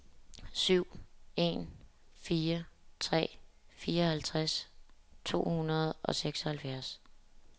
syv en fire tre fireoghalvtreds to hundrede og seksoghalvfjerds